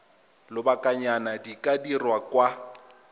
lobakanyana di ka dirwa kwa